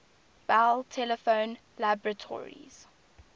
bell telephone laboratories